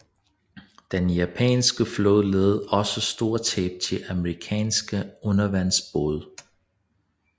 Den japanske flåde led også store tab til amerikanske undervandsbåde